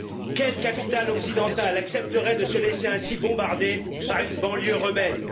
Quelle capitale occidentale accepterait elle de se laisser ainsi bombarder par une banlieue rebelle?